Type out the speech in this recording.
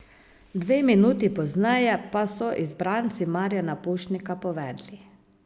Dve minuti pozneje pa so izbranci Marjana Pušnika povedli.